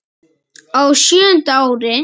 Á sjöunda ári